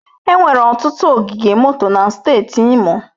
Enwere ọtụtụ ogige moto na steeti Imo.